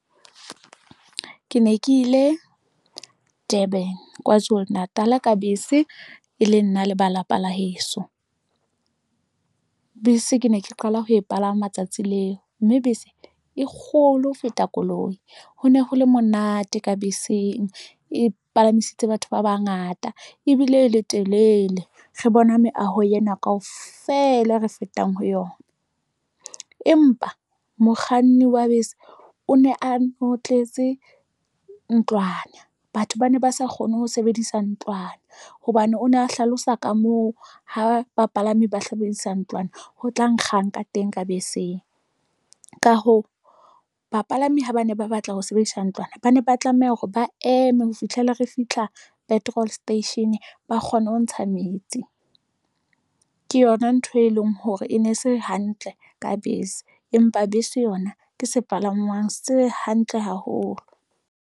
Ke ne ke ile Durban, Kwazulu Natal ka bese e le nna le ba lapa la heso. Bese ke ne ke qala ho e palama tsatsi leo mme bese e kgolo ho feta koloi. Ho ne ho le monate ka beseng. E palamisitse batho ba bangata ebile e le telele. Re bona meaho yena kaofela re fetang ho yona. Empa mokganni wa bese o ne a notletse ntlwana. Batho ba ne ba sa kgone ho sebedisa ntlwana hobane o ne a hlalosa ka moo ha bapalami ba hlebedisa ntlwana ho tla nkgang ka teng ka beseng. Ka hoo, bapalami ha ba ne ba batla ho sebedisa ntlwana. Ba ne ba tlameha hore ba eme ho fihlela re fihla petrol station ba kgone ho ntsha metsi. Ke yona ntho e leng hore e ne se hantle ka bese, empa bese yona ke sepalangwang se hantle haholo.